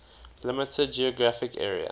limited geographic area